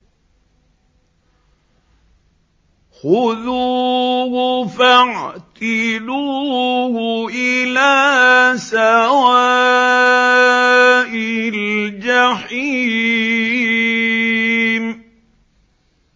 خُذُوهُ فَاعْتِلُوهُ إِلَىٰ سَوَاءِ الْجَحِيمِ